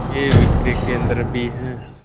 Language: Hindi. के विक्रय केंद्र भी हैं